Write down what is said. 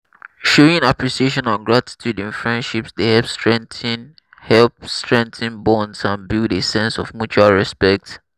showing appreciation and gratitude in friendships dey help strengthen help strengthen bonds and build a sense of mutual respect.